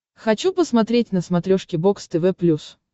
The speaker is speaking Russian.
хочу посмотреть на смотрешке бокс тв плюс